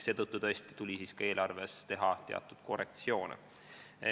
Seetõttu tuli ka eelarves teha teatud korrektsioone.